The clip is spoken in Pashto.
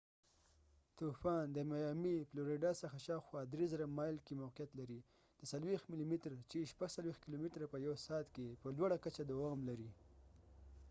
طوفان، د میامی، فلوریډا څخه شاوخوا ۳،۰۰۰ مایل کې موقعیت لري، د ۴۰ ملی متر ۶۴ کلومتره په يو سعت کي په لوړه کچه دوام لري